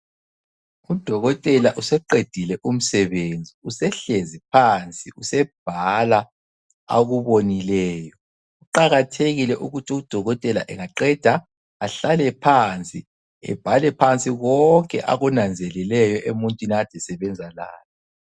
Udokotela useqedile umsebenzi usehlezi phansi usebhala akubonileyo. Kuqakathekile ukuthi udokotela engaqeda ahlale phansi ebhale phansi konke akunanzelileyo emuntwini akade esebenza laye.